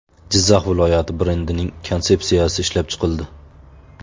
Jizzax viloyati brendining konsepsiyasi ishlab chiqildi .